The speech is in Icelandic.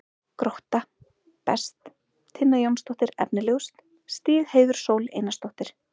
Grótta: Best: Tinna Jónsdóttir Efnilegust: Stígheiður Sól Einarsdóttir